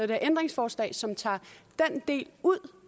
det her ændringsforslag som tager den del ud